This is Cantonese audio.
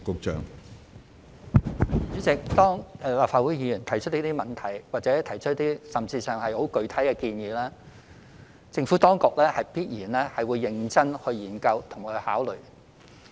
主席，立法會議員提出這些問題，甚或提出一些很具體的建議，政府當局必然會認真研究及考慮。